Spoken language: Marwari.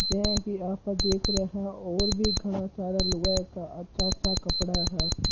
जो की आप सब देख रहे और भी घना सारा लुगाई का अच्छा-अच्छा कपड़ा है।